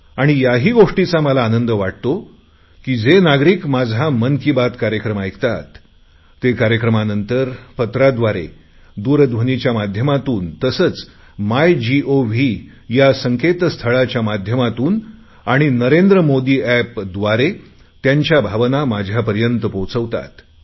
आणि याही गोष्टीचा मला आनंद वाटतो की जे नागरिक माझा मन की बात कार्यक्रम ऐकतात ते कार्यक्रमानंतर पत्राद्वारे दूरध्वनीच्या माध्यमातून तसेच माय गोव्ह या संकेतस्थळाच्या माध्यमातून आणि नरेंद्र मोदी एपद्वारे त्यांच्या भावना माझ्यापर्यंत पोहचवतात